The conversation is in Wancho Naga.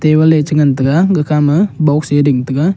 table a chi ngan tega gakha ma box a ding thaga.